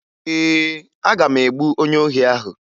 Ee, aga m egbu onye ohi ahụ